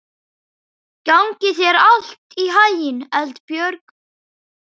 Gangi þér allt í haginn, Eldbjörg.